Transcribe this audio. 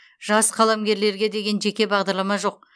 жас қаламгерлерге деген жеке бағдарлама жоқ